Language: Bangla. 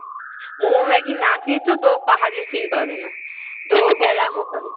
মোমো-ম্যাগি না খেয়েছ তো পাহাড়ের feel পাবে না। তো গেলাম ওখানে।